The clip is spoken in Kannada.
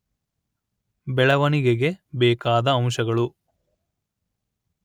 ಬೆಳವಣಿಗೆಗೆ ಬೇಕಾದ ಅಂಶಗಳು